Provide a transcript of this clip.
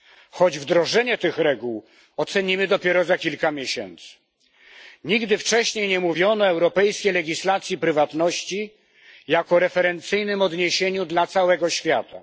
Choć wdrożenie tych reguł ocenimy dopiero za kilka miesięcy, nigdy wcześniej nie mówiono europejskiej legislacji prywatności jako referencyjnym odniesieniu dla całego świata.